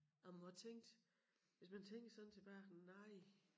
Og må have tænkt hvis man tænkte sådan tilbage nej